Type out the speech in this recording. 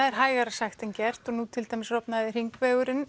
er hægara sagt en gert nú til dæmis rofnaði